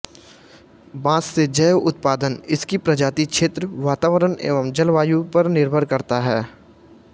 बाँस से जैव उत्पादन इसकी प्रजाति क्षेत्र वातावरण एवं जलवायु पर निर्भर करता है